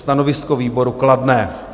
Stanovisko výboru: kladné.